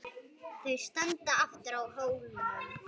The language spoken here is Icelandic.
Þau standa aftur á hólnum.